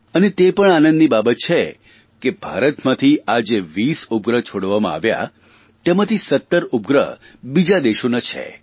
અને તે પણ આનંદીની બાબત છે કે ભારતમાંથી આ જે 20 ઉપગ્રહ છોડવામાં આવ્યાતેમાંથી 17 ઉપગ્રહ બીજા દેશોના છે